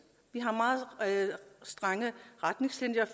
vi har meget strenge retningslinjer